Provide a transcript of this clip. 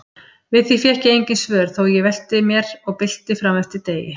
Við því fékk ég engin svör þó ég velti mér og bylti frameftir degi.